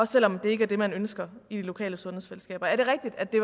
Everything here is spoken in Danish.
selv om det ikke er det man ønsker i de lokale sundhedsfællesskaber er det rigtigt at det